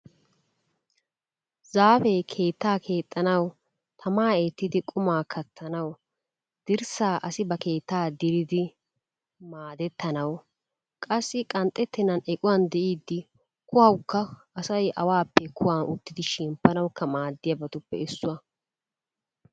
Zaafee keettaa keexxanawu, tamaa eettidi qumaa kattanawu, dirssaa asi ba keettaa diridi maadettanawu qassi qanxxettennan equwa diiddi kuwawukka asay awaappe kuwan uttidi shemppanawukka maaddiyabatuppe issuwa.